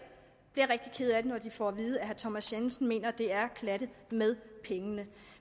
bliver rigtig kede af det når de får at vide at herre thomas jensen mener at det er at klatte med pengene